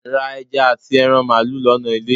ra eja ati eran malu lona ile.